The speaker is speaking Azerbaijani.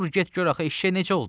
Dur get, gör axı eşşək necə oldu?